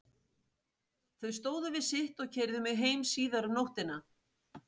Þau stóðu við sitt og keyrðu mig heim síðar um nóttina.